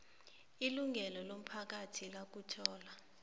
ilungelo lomphakathi lokuthola